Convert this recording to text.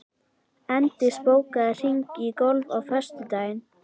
Eindís, bókaðu hring í golf á föstudaginn.